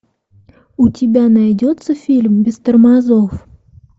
у тебя найдется фильм без тормозов